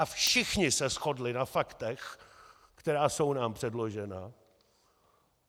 A všichni se shodli na faktech, která jsou nám předložena.